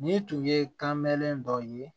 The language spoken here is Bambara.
Ni tun ye kanbɛlɛ dɔ ye